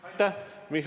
Aitäh!